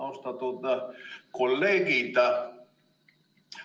Austatud kolleegid!